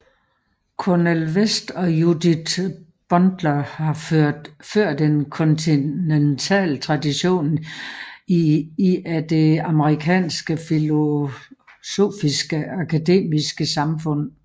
Cornel West og Judith Butler har ført en kontinental tradition i af det amerikanske filosofiske akademiske samfund